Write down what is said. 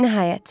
Nəhayət.